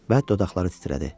Və dodaqları titrədi.